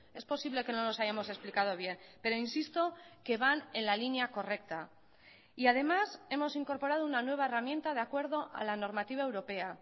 es posible que no los hayamos explicado bien pero insisto que van en la línea correcta y además hemos incorporado una nueva herramienta de acuerdo a la normativa europea